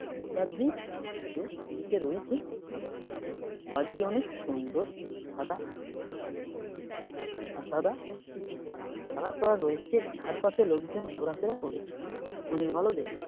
মমতা দির ছবিও টি.ভি. -তে রয়েছে | আঁকা বাড়িটি অনেক সুন্দর সাদা সবুজ সাদা বুলু কালার করা রয়েছে | ধারপাসে লোকজন ঘোড়া ফেরা করছে অনেক ভালো দেখতে ।